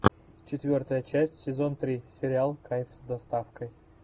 четвертая часть сезон три сериал кайф с доставкой